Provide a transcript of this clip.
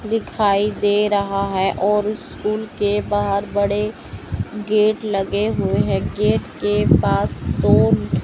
दिखाई दे रहा है और उस्कुल के बाहर बड़े गेट लगे हुए हैं गेट के पास कोन--